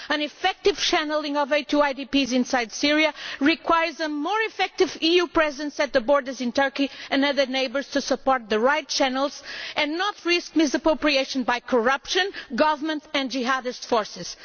An effective channelling of aid to IDPs inside Syria requires a more effective EU presence at the borders in Turkey and other neighbouring countries, to support the right channels and not risk misappropriation by corruption, government and Jihadist forces.